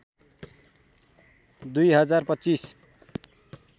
२ हजार २५